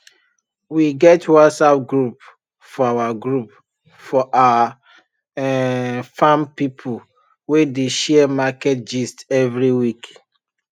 we get whatsapp group for our group for our um farm people wey dey share market gist every week